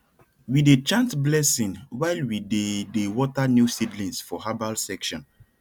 we dey chant blessing while we dey dey water new seedlings for herbal section